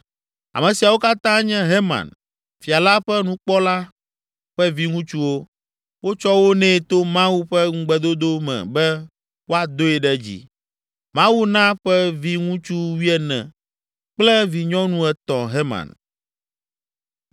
(Ame siawo katã nye Heman, fia la ƒe nukpɔla ƒe viŋutsuwo. Wotsɔ wo nɛ to Mawu ƒe ŋugbedodo me be woadoe ɖe dzi. Mawu na ƒe viŋutsu wuiene kple vinyɔnu etɔ̃ Heman.)